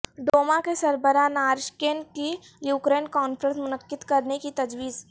Duma کے سربراہ Naryshkin کی یوکرین کانفرنس منعقد کرنے کی تجویز